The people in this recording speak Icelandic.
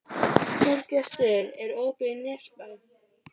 Þorgestur, er opið í Nesbæ?